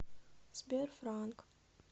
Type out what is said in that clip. сбер фраанк